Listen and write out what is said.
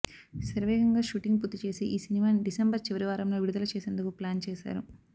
శరవేగంగా షూటింగ్ పూర్తి చేసి ఈ సినిమాని డిసెంబర్ చివరి వారంలో విడుదల చేసేందుకు ప్లాన్ చేశారు